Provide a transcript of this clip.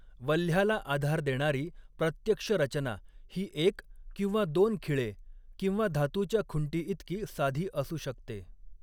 वल्ह्याला आधार देणारी प्रत्यक्ष रचना ही एक किंवा दोन खिळे किंवा धातूच्या खुंटीइतकी साधी असू शकते.